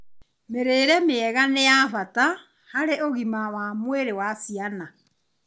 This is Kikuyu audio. Mĩrĩre mĩega nĩ ya bata harĩ ũgima wa mwĩrĩ wa ciana